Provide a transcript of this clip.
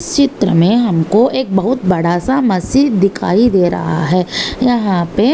इस चित्र मे हमको एक बहुत बड़ा सा मस्जिद दिखाई दे रहा है। यहाँ पे--